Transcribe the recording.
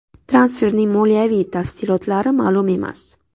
Transferning moliyaviy tafsilotlari ma’lum emas.